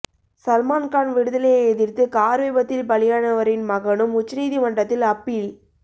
சல்மான்கான் விடுதலையை எதிர்த்து கார் விபத்தில் பலியானவரின் மகனும் உச்சநீதிமன்றத்தில் அப்பீல்